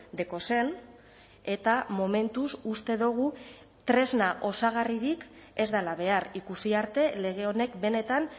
dekozen eta momentuz uste dugu tresna osagarririk ez dela behar ikusi arte lege honek benetan